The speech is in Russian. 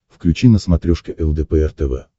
включи на смотрешке лдпр тв